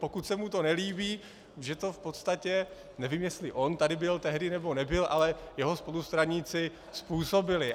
Pokud se mu to nelíbí, že to v podstatě, nevím, jestli on tady byl tehdy, nebo nebyl, ale jeho spolustraníci způsobili.